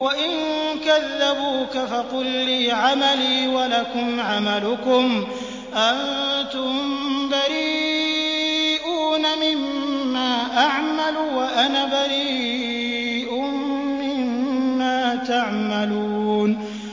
وَإِن كَذَّبُوكَ فَقُل لِّي عَمَلِي وَلَكُمْ عَمَلُكُمْ ۖ أَنتُم بَرِيئُونَ مِمَّا أَعْمَلُ وَأَنَا بَرِيءٌ مِّمَّا تَعْمَلُونَ